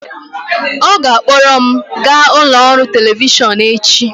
ọ ga-akpọrọ m gaa ụlọ ọrụ telivishọn echi